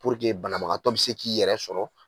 banabagatɔ bɛ se k'i yɛrɛ sɔrɔ.